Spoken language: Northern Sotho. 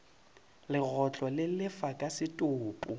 legotlo le lefa ka setopo